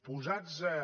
posats a